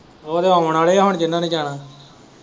ਉਹ ਤੇ ਆਉਣ ਵਾਲੇ ਹੈ ਹੁਣ ਜਿਹਨਾਂ ਨੇ ਜਾਣਾ ਹੀ।